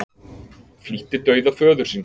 Flýtti dauða föður síns